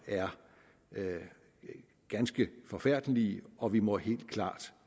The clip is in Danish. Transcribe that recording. er ganske forfærdelige og vi må helt klart